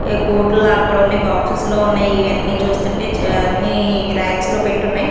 ఏ coat లాగా కూడా ఉన్నాయి బాక్సెస్ లో ఉన్నాయి ఇయన్నీ చూస్తుంటే అన్నీ రాక్స్ లో పెట్టి ఉన్నాయి.